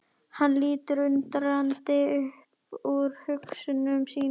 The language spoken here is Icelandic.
Hann lítur undrandi upp úr hugsunum sínum.